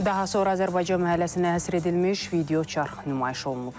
Daha sonra Azərbaycan məhəlləsinə həsr edilmiş videoçarx nümayiş olunub.